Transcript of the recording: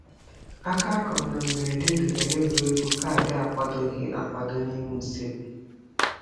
Aka a kụrụ na mberede dugara n'egwuregwu kaadị akwadoghị akwado n'ime usekwu.